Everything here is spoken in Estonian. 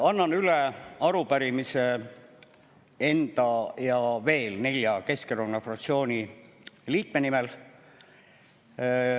Annan üle arupärimise enda ja veel nelja Keskerakonna fraktsiooni liikme nimel.